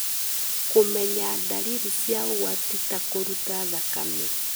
Kũmenya ndariri cia ũgwati ta kũruta thakame